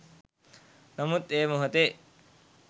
නමුත් ඒ මොහොතේ